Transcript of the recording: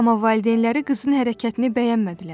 Amma valideynləri qızın hərəkətini bəyənmədilər.